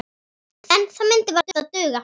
En það myndi varla duga.